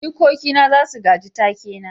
jikoki na za su gaji take na